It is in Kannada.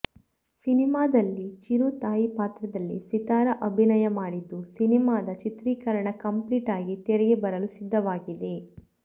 ಸಿನಿಮಾದಲ್ಲಿ ಚಿರು ತಾಯಿ ಪಾತ್ರದಲ್ಲಿ ಸಿತಾರ ಅಭಿನಯ ಮಾಡಿದ್ದು ಸಿನಿಮಾದ ಚಿತ್ರೀಕರಣ ಕಂಪ್ಲಿಟ್ ಆಗಿ ತೆರೆಗೆ ಬರಲು ಸಿದ್ದವಾಗಿದೆ